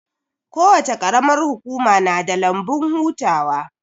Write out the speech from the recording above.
Kowace qaramar hukuma na da lambun hutawa